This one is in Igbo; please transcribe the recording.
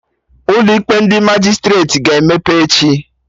Ụlọ ikpe ndị Majistreti ga-emepe echi